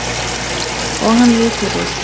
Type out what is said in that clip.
Og hann lítur upp.